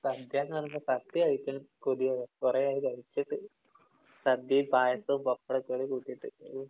സദ്യ എന്ന് പറയുമ്പോ സത്യായിട്ടും കൊതിയാവുക. കൊറെയായി കഴിച്ചിട്ട്. സദ്യയും പായസവും, പപ്പടവും ഒക്കെ അങ്ങട് കൂട്ടിട്ട്.